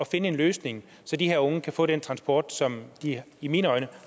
finde en løsning så de her unge kan få den transport som de i mine øjne